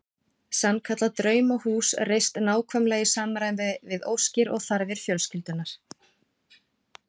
Sannkallað draumahús reist nákvæmlega í samræmi við óskir og þarfir fjölskyldunnar.